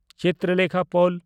ᱪᱤᱛᱨᱚᱞᱮᱠᱷᱟ ᱯᱚᱞ